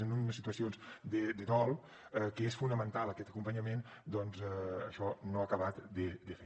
en unes situacions de dol que és fonamental aquest acompanyament doncs això no s’ha acabat de fer